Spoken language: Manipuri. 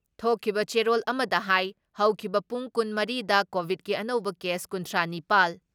ꯊꯣꯛꯈꯤꯕ ꯆꯦꯔꯣꯜ ꯑꯃꯗ ꯍꯥꯏ ꯍꯧꯈꯤꯕ ꯄꯨꯡ ꯀꯨꯟ ꯃꯔꯤ ꯗ ꯀꯣꯚꯤꯠꯀꯤ ꯑꯅꯧꯕ ꯀꯦꯁ ꯀꯨꯟꯊ꯭ꯔꯥ ꯅꯤꯄꯥꯜ